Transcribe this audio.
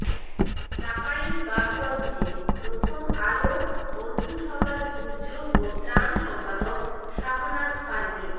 চাঁপাইনবাবগঞ্জে প্রথম আলো বন্ধুসভার দুর্যোগ ও ত্রাণ সম্পাদক শাহনাজ পারভিন